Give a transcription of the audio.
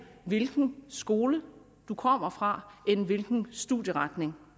hvilken skole man kommer fra end hvilken studieretning